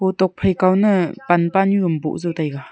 tok phai kao na pan pa nyu am boh zau taega.